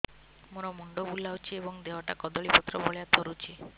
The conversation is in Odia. ମୋର ମୁଣ୍ଡ ବୁଲାଉଛି ଏବଂ ଦେହଟା କଦଳୀପତ୍ର ଭଳିଆ ଥରୁଛି